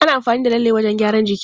Ana amfani da lalle wajen gyaran jiki.